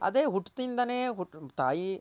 ಅದೆ ಹುಟ್ತಿಂದನೆ ತಾಯಿ